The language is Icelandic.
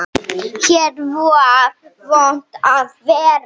Hér var vont að vera.